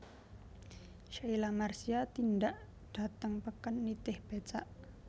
Sheila Marcia tindak dhateng peken nitih becak